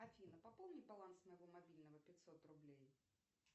афина пополни баланс моего мобильного пятьсот рублей